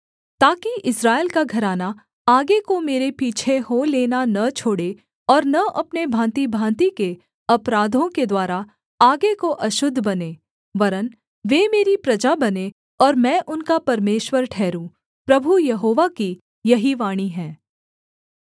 ताकि इस्राएल का घराना आगे को मेरे पीछे हो लेना न छोड़े और न अपने भाँतिभाँति के अपराधों के द्वारा आगे को अशुद्ध बने वरन् वे मेरी प्रजा बनें और मैं उनका परमेश्वर ठहरूँ प्रभु यहोवा की यही वाणी है